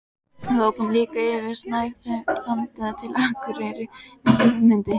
Við ókum líka yfir snæviþakið landið til Akureyrar með Guðmundi